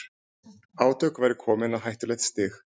Átök væru komin á hættulegt stig